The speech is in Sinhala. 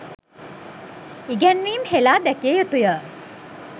ඉගැන්වීම් හෙළා දැකිය යුතුය.